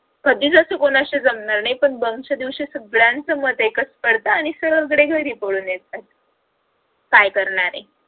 कधीच असं कुणाशी जमणार नाही पण bunk च्या दिवशी संगळ्यांच मत एकच करत आणि सगळे घरी पळून येतात काय करणारे